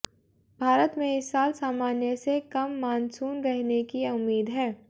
भारत में इस साल सामान्य से कम मानसून रहने की उम्मीद है